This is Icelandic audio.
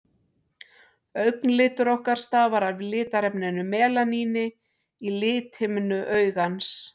augnlitur okkar stafar af litarefninu melaníni í lithimnu augans